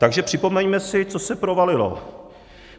Takže připomeňme si, co se provalilo.